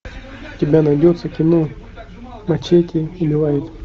у тебя найдется кино мачете убивает